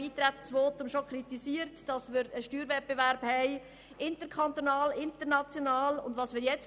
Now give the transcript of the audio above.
Im Eintretensvotum haben wir bereits kritisiert, dass wir einen interkantonalen und internationalen Steuerwettbewerb haben.